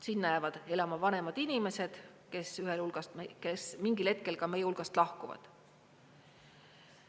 Sinna jäävad elama vanemad inimesed, kes mingil hetkel ka meie hulgast lahkuvad.